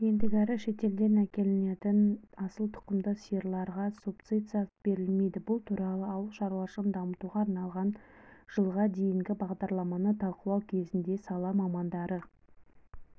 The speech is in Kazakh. ендігәрі шетелден әкелінетін асыл тұқымды сиырларға субсидия берілмейді бұл туралы ауыл шаруашылығын дамытуға арналған жылға дейінгі бағдарламаны талқылау кезінде сала мамандары